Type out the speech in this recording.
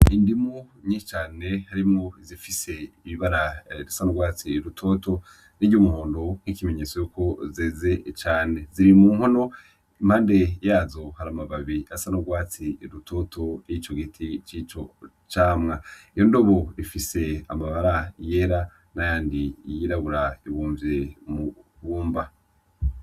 Indimu nyinshi cane harimwo izifise ibara risa nurwatsi rutoto niryumuhondo nkikimenyetso yuko zeze cane ziri mu nkono impande yazo hari amababi asa nurwatsi rubisi nkico giti cico camwa iyo nkono ifise abara yera nayandi yirabura ibumvye mwibumba.